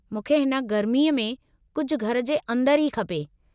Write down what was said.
मूंखे हिन गर्मीअ में कुझु घर जे अंदर ई खपे।